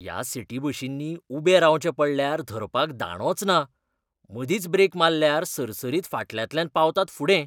ह्या सिटी बशींनी उबे रावचें पडल्यार धरपाक दांडोच ना. मदींच ब्रेक माल्ल्यार सरसरीत फाटल्यांतल्यान पावतात फुडें.